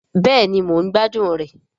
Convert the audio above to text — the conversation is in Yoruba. Bẹ́ẹ̀ni mò ń gbádùn rẹ̀